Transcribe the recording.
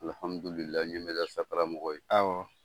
Alhamudulila ɲe Merdersa karamɔgɔ ye; Awɔ.